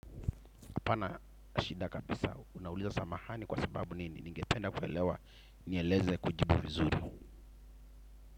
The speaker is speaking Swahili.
Hapana shida kabisa. Unauliza samahani kwa sababu nini. Ningependa kuelewa nieleze kujibu vizuri.